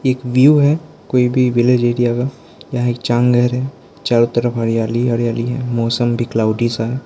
एक व्यू है कोई भी विलेज एरिया का यहां एक चांघर है चारों तरफ हरियाली ही हरियाली है मौसम भी क्लॉउडी सा है।